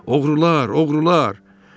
Oğrular, oğrular!